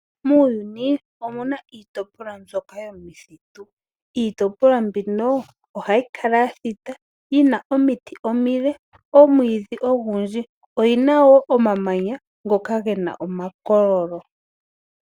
Muuyuni omuna iitopolwa mbyoka yomithitu. Iitopolwa mbino oha yi kala ya thita yina omiti omile, omwiidhi ogundji, oyi na woo omamanya, ngoka ge na omakololo.